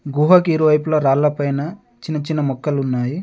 గుహకి ఇరువైపులా రాళ్ళపైన చిన్న చిన్న మొక్కలున్నాయి.